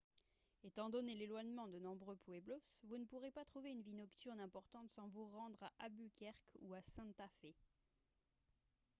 étant donné l'éloignement de nombreux pueblos vous ne pourrez pas trouver une vie nocturne importante sans vous rendre à albuquerque ou à santa fe